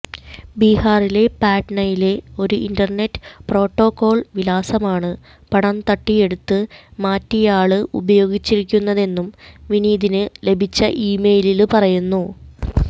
ബിഹാറിലെ പട്നയിലെ ഒരു ഇന്റര്നെറ്റ് പ്രോട്ടോകോള് വിലാസമാണ് പണം തട്ടിയെടുത്ത് മാറ്റിയയാള് ഉപയോഗിച്ചിരിക്കുന്നതെന്നും വിനീതിന് ലഭിച്ച ഇമെയിലില് പറയുന്നു